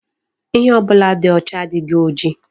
Ihe ọbụla dị ọcha adịghị oji.